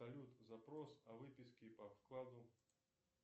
салют запрос о выписке по вкладу